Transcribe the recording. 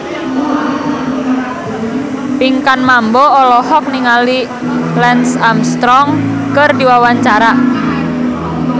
Pinkan Mambo olohok ningali Lance Armstrong keur diwawancara